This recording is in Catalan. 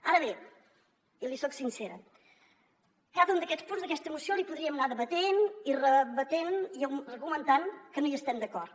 ara bé i li soc sincera cada un d’aquests punts d’aquesta moció li podríem anar debatent i rebatent i argumentant que no hi estem d’acord